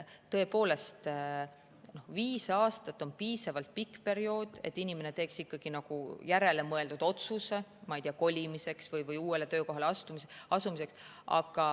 Tõepoolest, viis aastat on piisavalt pikk periood, et inimene teeks ikkagi läbimõeldud otsuse, ma ei tea, kolimise või uuele töökohale asumise kohta.